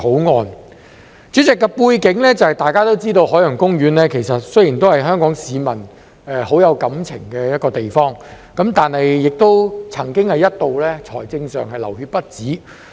代理主席，大家都知道有關背景，海洋公園雖然是香港市民很有感情的一個地方，但亦曾一度在財政上"流血不止"。